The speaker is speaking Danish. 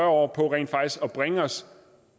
år på at bringe os